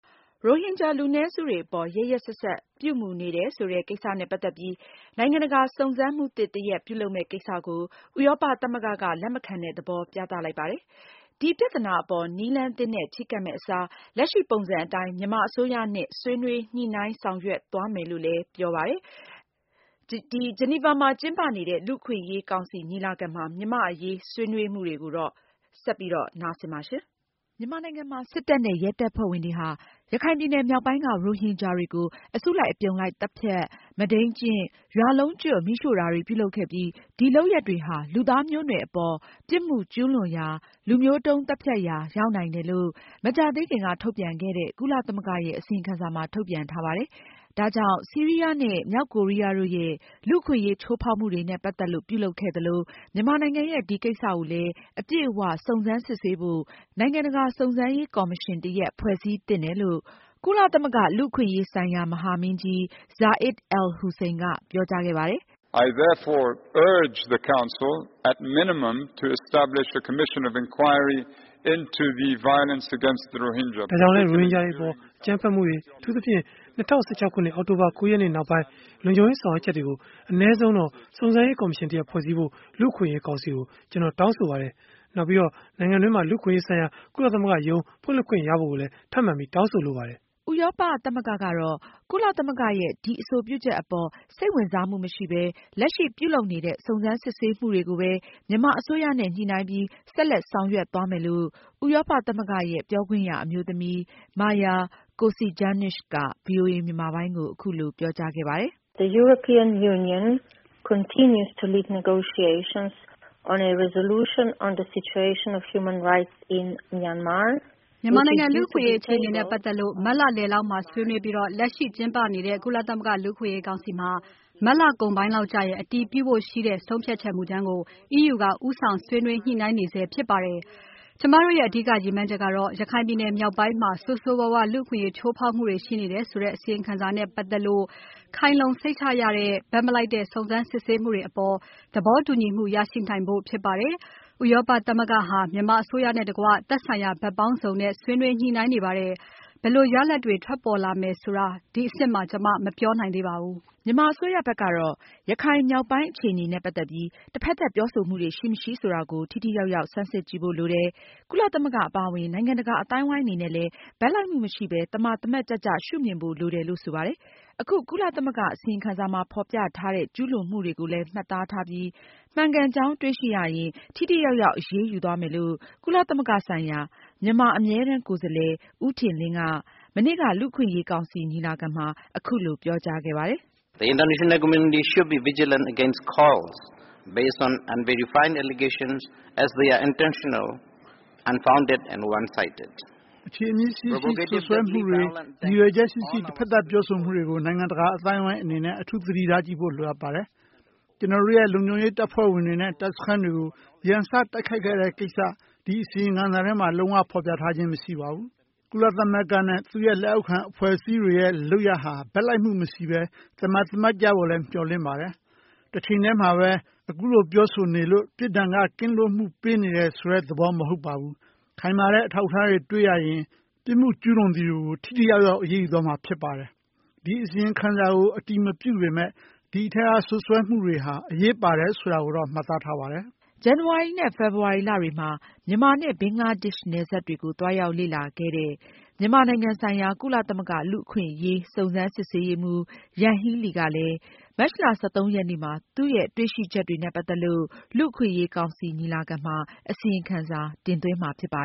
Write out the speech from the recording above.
ရိုဟင်ဂျာ လူနည်းစုတွေအပေါ် ရက်ရက်စက်စက်ပြုမူနေတယ်ဆိုတဲ့ ကိစ္စနဲ့ ပတ်သက်ပြီး နိုင်ငံတကာ စုံစမ်းမှုသစ် တရပ်ပြုလုပ်မယ့်ကိစ္စကို ဥရောပသမဂ္ဂက လက်မခံတဲ့သဘောပြသလိုက်ပါတယ်။ ဒီပြသနာအပေါ် နည်းလမ်းသစ်နဲ့ ချည်းကပ်မယ့် အစား လက်ရှိပုံစံအတိုင်း မြန်မာအစိုးရနဲ့ ဆွေးနွေးညှိနှိုင်း ဆောင်ရွက်သွားမယ်လို့ ဆိုပါတယ်။ အသေးစိတ်ကို မအင်ကြင်းနိုင်က တင်ပြမှာပါ။ မြန်မာနိုင်ငံမှာ စစ်တပ်နဲ့ ရဲတပ်ဖွဲ့ဝင်တွေဟာ ရခိုင်ပြည်နယ်မြောက်ပိုင်းက ရိုဟင်ဂျာတွေကို အစုလိုက် အပြုံလိုက် သတ်ဖြတ် မုဒိမ်းကျင့် ၊ ရွာလုံးကျွတ် မီးရှို့တာတွေပြုလုပ်ခဲ့ပြီး ဒီလုပ်ရပ်တွေဟာ လူသားမျိုးနွယ်အပေါ် ပြစ်မှုကျူးလွန်ရာလူမျိုးတုံးသတ်ဖြတ်ရာ ရောက်နိုင်တယ်လို့ မကြာသေးခင်က ထုတ်ပြန်ခဲ့တဲ့ ကုလသမဂ္ဂရဲ့ အစီရင်ခံစာမှာ ထုတ်ပြန်ထားပါတယ်။ ဒါကြောင့် ဆီရီးယားနဲ့ မြောက်ကိုးရီးယားတို့ရဲ့ လူ့အခွင့်အရေးချိုးဖောက်မှုတွေနဲ့ ပတ်သက်လို့ ပြုလုပ်ခဲ့သလို၊ မြန်မာနိုင်ငံရဲ့ ဒီကိစ္စကိုလည်း အပြည့်အ၀ စုံစမ်းစစ်ဆေးဖို့ နိုင်ငံတကာ စုံစမ်းရေးကော်မရှင်တရပ် ဖွဲ့စည်းသင့်တယ်လို့ ကုလသမဂ္ဂ လူ့အခွင့်အရေးအကြီးအကဲ Zeid al-Hussein ကပြောကြားခဲ့တာပါ။ “ဒါကြောင့် ရိုဟင်ဂျာတွေ အပေါ် အကြမ်းဖက်မှုတွေ အထူးသဖြင့်၂၀၁၆ ခုနှစ် အောက်တိုဘာလ ၉ ရက်နေ့ နောက်ပိုင်း လုံခြုံရေး ဆောင်ရွက်ချက်တွေကို အနည်းဆုံးတော့ စုံစမ်းရေး ကော်မရှင် တရပ် ဖွဲ့စည်းဖို့ လူ့အခွင့်အရေး ကောင်စီကို ကျနော် တောင်းဆိုပါတယ်။ နောက် နိုင်ငံတွင်းမှာ လူ့အခွင့်အရေးဆိုင်ရာ ကုလသမဂ္ဂရုံး ဖွင့်လှစ်ခွင့်ရဖို့ကိုလည်း ထပ်ပြီး တောင်းဆိုပါတယ်။” ဥရောပသမဂ္ဂကတော့ ကုလသမဂ္ဂရဲ့ ဒီအဆိုပြုချက်အပေါ် စိတ်ဝင်စားမှုမရှိပဲ လက်ရှိပြုလုပ်နေတဲ့ စုံစမ်းစစ်ဆေးမှုတွေကိုပဲ မြန်မာအစိုးရနဲ့ ညှိုနှိုင်းပြီး ဆက်လက်ဆောင်ရွက်သွားမယ်လို့ ဥရောပသမဂ္ဂရဲ့ ပြောခွင့်ရအမျိုးသမီး Maja Kocijancic က ဗွီအိုအေမြန်မာပိုင်းကို အခုလိုပြောကြားခဲ့ပါတယ်။ “မြန်မာနိုင်ငံ လူ့အခွင့်အရေးအခြေအနေနဲ့ ပတ်သက်လို့ မတ်လ အလယ်မှာ ဆွေးနွေးပြီး လက်ရှိကျင်းပဆဲ လူ့အခွင့်အရေးကောင်စီမှာ မတ်လ အကုန်ပိုင်းလောက်မှာ အတည်ပြုမယ့် ဆုံးဖြတ်ချက်မူကြမ်းကို ဥရောပသမဂ္ဂက ဆက်လက်ဦးဆောင် ညှိုနှိုင်းသွားမှာဖြစ်ပါတယ်။ ကျမတို့ရဲ့ အဓိက ရည်မှန်းချက်ကတော့ ရခိုင်ပြည်နယ် မြောက်ပိုင်းမှာ ဆိုးဆိုးရွားရွား လူ့အခွင့်အရေး ချိူးဖောက်မှုတွေ ရှိနေတယ်ဆိုတဲ့ အစီရင်ခံစာနဲ့ပတ်သက်ပြီး ခိုင်လုံစိတ်ချရသော ဘက်မလိုက်တဲ့ စုံစမ်းစစ်ဆေးမှုတွေအပေါ် သဘောတူညီမှုရရှိနိုင်ဖို့ဖြစ်ပါတယ်။ ဥရောပသမဂ္ဂဟာ မြန်မာအစိုးရနဲ့တကွ သက်ဆိုင်ရာ ဘက်ပေါင်းစုံနဲ့ ဆွေးနွေးညှိနှိုင်းနေပါတယ်။ ဘယ်လိုရလာဒ်ပေါ်ထွက်မယ်ဆိုတာ ဒီအဆင့်မှာ ကျမ မပြောနိုင်သေးပါဘူး။” မြန်မာ အစိုးရဘက်ကတော့ ရခိုင်မြောက်ပိုင်းအခြေအနေနဲ့ပတ်သက်ပြီး တဘက်သက်ပြောဆိုမှုတွေရှိမရှိဆိုတာကို ထိထိရောက်ရောက် ဆန်းစစ်ကြည့်ဖို့ လိုတယ်၊ ကုလသမဂ္ဂအပါအဝင် နိုင်ငံတကာ အသိုင်းအဝိုင်းအနေနဲ့လည်း ဘက်လိုက်မှုမရှိပဲ သမာသမတ်ကျကျ ရှုမြင်ဖို့လိုတယ်လို့ ဆိုပါတယ်။ အခု ကုလသမဂ္ဂအစီရင်ခံစာမှာ ဖေါ်ပြထားတဲ့ ကျူးလွန်မှုတွေကိုလည်း မှတ်သားထားပြီး မှန်ကန်ကြောင်းတွေ့ရှိရရင် ထိထိရောက်ရောက်အရေးယူသွားမယ်လို့ ကုလသမဂ္ဂဆိုင်ရာ မြန်မာအမြဲတမ်းကိုယ်စားလှယ်က ဦးထင်လင်းက မနေ့က လူ့အခွင့်အရေးကောင်စီညီလာခံမှာ အခုလို ပြောကြားခဲ့ပါတယ်။ “အခြေအမြစ်ရှိရှိစွပ်စွဲမှုတွေ ရည်ရွယ်ချက်ရှိရှိတဖက်သတ်ပြောဆိုမှုတွေကို နိုင်ငံတကာအသိုင်းအဝိုင်းအနေနဲ့ အထူးသတိထားဖို့လိုပါတယ်။ ကျနော်တို့ရဲ့လုံခြုံရေးတပ်ဖွဲ့ဝင်တွေနဲ့ တပ်စခန်းတွေကို ရန်စတိုက်ခိုက်ခဲ့တဲ့ ကိစ္စ ဒီအစီအရင်ခံစာထဲမှာ လုံးဝဖော်ပြထားခြင်းမရှိပါဘူး။ ကုလသမဂ္ဂနဲ့ သူ့ရဲ့လက်အောက်ခံအဖွဲ့အစည်းတွေရဲ့ လုပ်ရပ်ဟာ ဘက်လိုက်မှုမရှိပဲ သမာသမတ်ကြဖို့ မျှော်လင့်ပါတယ်။ တချိန်တည်းမှာပဲ အခုလိုပြောဆိုနေလို့ ပြစ်ဒဏ်က ကင်းလွှတ်ဖို့ ပေးနေတယ်ဆိုတဲ့သဘောမဟုတ်ပါဘူး။ ခိုင်မာတဲ့အထောက်အထားတွေတွေ့ရရင် ပြစ်မှုကျူးလွန်သူကို ထိထိရောက်ရောက် အရေးယူသွားမှာဖြစ်ပါတယ်။ ဒီအစီရင်ခံစာကို အတည်မပြုပေမယ့် ဒီအထဲက စွပ်စွဲမှုတွေဟာ အရေးပါတယ်ဆိုတာကိုတော့ မှတ်သားထားပါတယ်။” ဇန်နဝါရီနဲ့ ဖေဖေါ်ဝါရီလတွေမှာ မြန်မာနဲ့ ဘင်္ဂလားဒေ့ရှ်နယ်စပ်တွေကို သွားရောက်ပြီး လူ့အခွင့်အရေးအခြေအနေတွေကို လေ့လာခဲ့တဲ့ မြန်မာနိုင်ငံဆိုင်ရာ ကုလသမဂ္ဂ လူအခွင့်အရေး စုံစမ်းစစ်ဆေးရေးမှူး Yanghee Lee ကလည်း မတ်လ ရက်နေ့မှာ သူတွေ့ရှိချက်တွေနဲ့ပတ်သက်လို့ လူ့အခွင့်အရေးကောင်စီညီလာခံမှာ အစီရင်ခံစာတင်သွင်းမှာဖြစ်ပါ